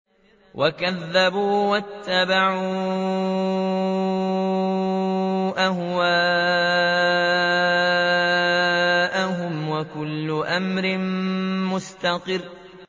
وَكَذَّبُوا وَاتَّبَعُوا أَهْوَاءَهُمْ ۚ وَكُلُّ أَمْرٍ مُّسْتَقِرٌّ